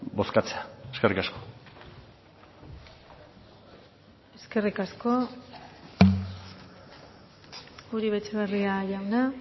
bozkatzea eskerrik asko eskerrik asko uribe etxebarria jauna